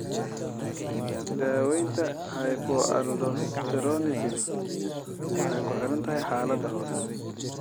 Daaweynta hypoaldosteronism waxay kuxirantahay xaalada hoose.